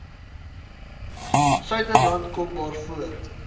suiderland kom waaroor